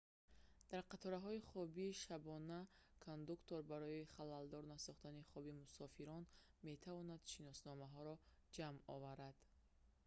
дар қатораҳои хоби шабона кондуктор барои халалдор насохтани хоби мусофирон метавонад шиносномаҳоро ҷамъ оварад